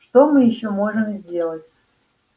что мы ещё можем сделать